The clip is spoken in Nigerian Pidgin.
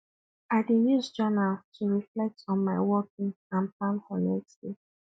i dey use journal to reflect on my workday and plan for next day